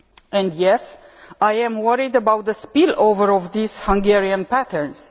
And yes, I am worried about the spill over of these Hungarian patterns.